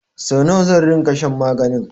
Sau nawa zan ringa shan maganin?